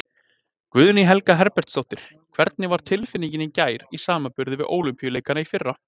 Guðný Helga Herbertsdóttir: Hvernig var tilfinningin í gær í samanburði við Ólympíuleikana í fyrra?